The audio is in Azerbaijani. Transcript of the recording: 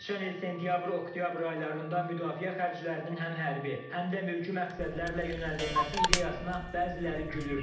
Keçən il sentyabr-oktyabr aylarında müdafiə xərclərinin həm hərbi, həm də mülkü məqsədlərlə yönəldilməsi ideyasına bəziləri gülürdü.